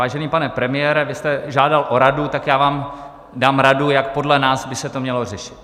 Vážený pane premiére, vy jste žádal o radu, tak já vám dám radu, jak podle nás by se to mělo řešit.